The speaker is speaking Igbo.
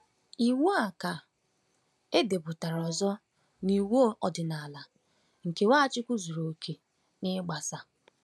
Iwu a ka edepụtara ọzọ n’iwu ọdịnala, nke Nwachukwu zuru oke n’ịgbaso.